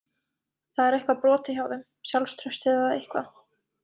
Það er eitthvað brotið hjá þeim, sjálfstraustið eða eitthvað.